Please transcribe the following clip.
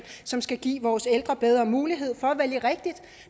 som skal give vores ældre bedre mulighed for